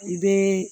I bɛ